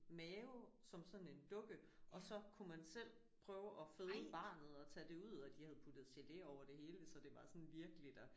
Mave som sådan en dukke og så kunne man selv prøve at føde barnet og tage det ud og de havde puttet gele over det hele så det var sådan virkeligt og